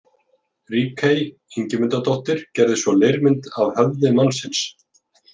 Ríkey Ingimundardóttir gerði svo leirmynd af höfði mannsins.